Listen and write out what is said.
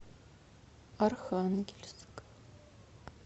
архангельск